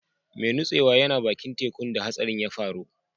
Mai nutsewan yana baki'n tekun da hatsarin ya faru.